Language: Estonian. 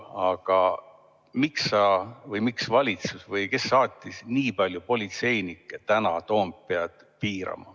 Aga miks valitsus või kes saatis nii palju politseinikke täna Toompead piirama?